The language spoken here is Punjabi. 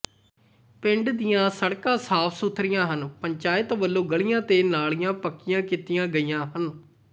ਪਿੰਡ ਦੀਆਂ ਸੜਕਾਂ ਸਾਫ ਸੁਥਰੀਆਂ ਹਨ ਪੰਚਾਇਤ ਵੱਲੋਂ ਗਲੀਆਂ ਤੇ ਨਾਲੀਆਂ ਪੱਕੀਆਂ ਕੀਤੀਆਂ ਗਈਆਂ ਹਨ